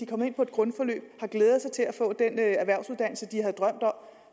kommet ind på et grundforløb har glædet sig til at få den erhvervsuddannelse de har drømt om